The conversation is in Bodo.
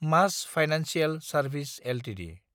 मास फाइनेन्सियेल सार्भिस एलटिडि